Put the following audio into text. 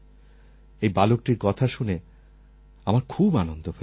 এই বালকটির কথা শুনে আমার খুব আনন্দ হয়েছে